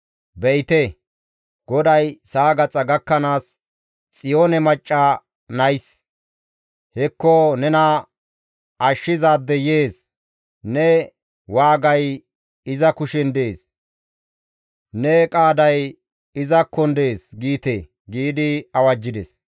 Be7ite, GODAY sa7a gaxa gakkanaas, «Xiyoone macca nays, ‹Hekko nena Ashshizaadey yees; ne waagay iza kushen dees; ne qaaday izakkon dees› giite» giidi awajjides.